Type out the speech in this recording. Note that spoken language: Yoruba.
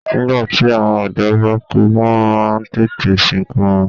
Nígbàtí àwọn ọ̀dọ́ bá kú wọ́n má a ń tètè sìnkú wọn